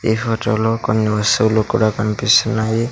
ఈ ఫోటో లో కొన్ని వస్తువులు కూడా కన్పిస్తున్నాయి.